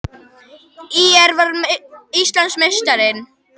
ÍR varði Íslandsmeistaratitilinn